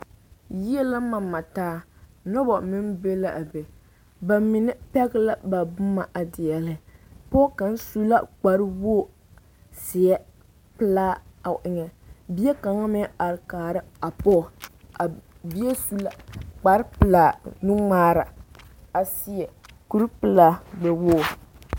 Yie la mama taa noba meŋ be la be ba mine pɛge la ba boma a deɛle pɔge kaŋ su la kparewogi zeɛ pelaa o eŋɛ bie kaŋ meŋ are kaara a pɔge a bie su la kparepelaa nuŋmaara a seɛ kuripelaa gbɛwogre.